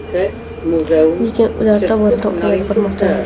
lekin ular tobora kamayib bormoqda.